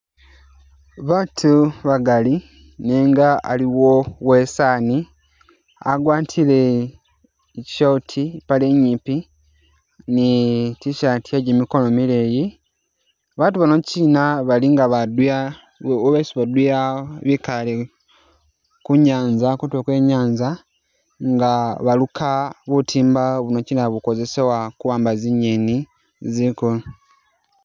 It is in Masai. Batu bagali nenga aliwo uwesaani agwatile i'short ipaale inyipi ni i'tshirt ye jimikono mileyi, batu bano kyina bali nga baduya bo besi baduya bikale kunyanza kutulo kwe nyanza nga baluka butimba buno kyina bukozesebwa kuwamba zinyeni zikulu